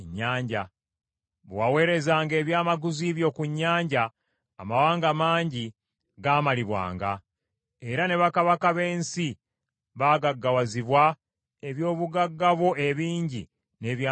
Bwe waweerezanga ebyamaguzi byo ku nnyanja, amawanga mangi gamalibwanga; era ne bakabaka b’ensi baagaggawazibwa eby’obugagga bwo ebingi n’ebyamaguzi byo.